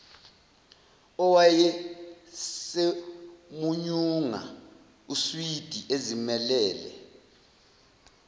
owayesemunyunga uswidi ezimelele